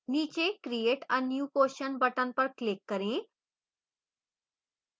नीचे create a new question button पर click करें